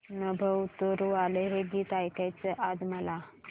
नभं उतरू आलं हे गीत ऐकायचंय आज मला